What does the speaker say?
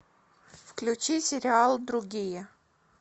включи сериал другие